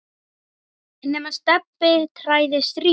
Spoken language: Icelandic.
nema Stebbi træði strý.